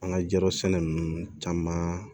An ka jirɔ sɛnɛ ninnu caman